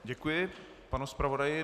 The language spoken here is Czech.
Děkuji panu zpravodaji.